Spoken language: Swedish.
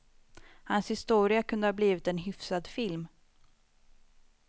Hans historia kunde ha blivit en hyfsad film.